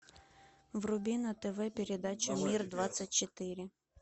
вруби на тв передачу мир двадцать четыре